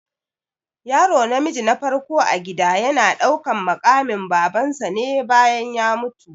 Yaro namiji na farko a gida yana ɗaukan maƙamin baban sa ne bayan ya mutu